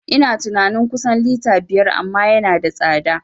Ina tunani kusan lita biyar amma yana da tsada